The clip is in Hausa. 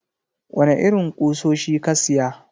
Wane irin kusoshi ka siya?